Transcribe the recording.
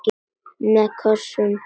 Með kossum.